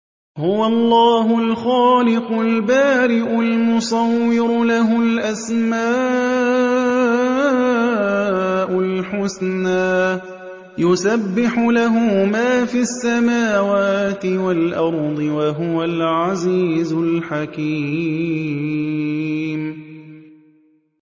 هُوَ اللَّهُ الْخَالِقُ الْبَارِئُ الْمُصَوِّرُ ۖ لَهُ الْأَسْمَاءُ الْحُسْنَىٰ ۚ يُسَبِّحُ لَهُ مَا فِي السَّمَاوَاتِ وَالْأَرْضِ ۖ وَهُوَ الْعَزِيزُ الْحَكِيمُ